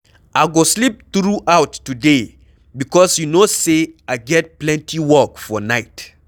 I go sleep through out today because you no say I get plenty work for night